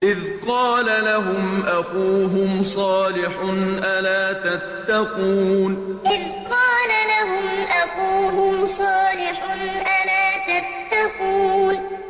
إِذْ قَالَ لَهُمْ أَخُوهُمْ صَالِحٌ أَلَا تَتَّقُونَ إِذْ قَالَ لَهُمْ أَخُوهُمْ صَالِحٌ أَلَا تَتَّقُونَ